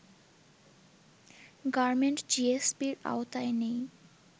garment জিএসপির আওতায় নেই